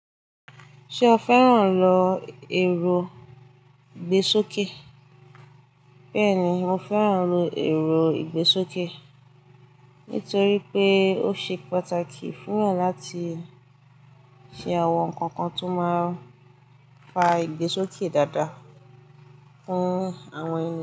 Ṣé o fẹ́ràn lọ èrò ìgbésókè? Bẹ́ẹ̀ni, mo fẹ́ràn lọ èrò ìgbésókè, nítorí pé ó ṣe pàtàkì fún wa láti ṣe àwọn nǹkan kan tó máa fa ìgbésókè dáadáa fún àwọn eni.